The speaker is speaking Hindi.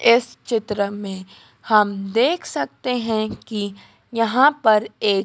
इस चित्र में हम देख सकते हैं कि यहां पर एक--